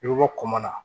I bɛ bɔ koma na